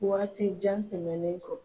Waati jan tɛmɛnlen kɔ.